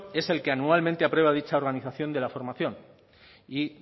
es el que anualmente aprueba dicha organización de la formación y